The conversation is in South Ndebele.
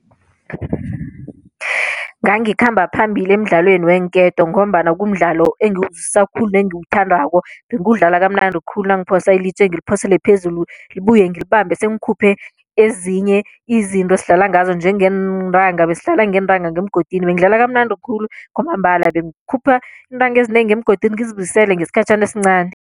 Ngangikhamba phambili emdlalweni weenketo ngombana kumdlalo engiwuzwisisa khulu nengiwuthandako bengiwudlala kamnandi khulu nangiphosa ilitje ngiliphosele phezulu libuye ngilibambe sengikhuphe ezinye izinto esidlala ngazo njengeentanga besidlala ngeentanga ngemgodini, bengidlala kamnandi khulu kwamambala bengikhupha iintanga ezinengi ngemgodini ngizibuyisele ngesikhatjhana esincani.